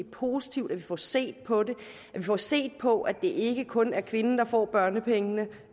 positivt at vi får set på det at vi får set på at det ikke kun er kvinden der får børnepengene